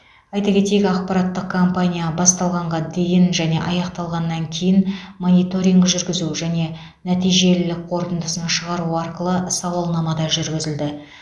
айта кетейік ақпараттық компания басталғанға дейін және аяқталғаннан кейін мониторинг жүргізу және нәтижелілік қорытындысын шығару арқылы сауалнама да жүргізілді